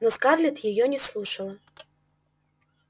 но скарлетт её не слушала